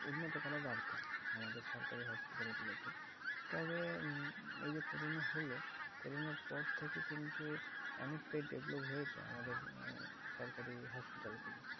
উন্নত করা দরকার আমাদের সরকারি hospital গুলোকে। তবে এই যে corona হলো, corona র পর থেকে কিন্তু অনেকটাই develop হয়েছে আমাদের সরকারি hospital গুলো।